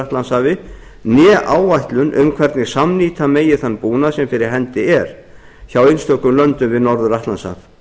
atlantshafi né áætlun um hvernig samnýta megi þann búnað sem fyrir hendi er hjá einstökum löndum við norður atlantshaf